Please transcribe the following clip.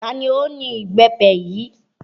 Ta ni ó ni Ìbẹ́pẹ yìí?